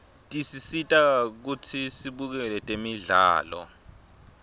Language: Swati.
tisisita kutsi sibukele temdlalo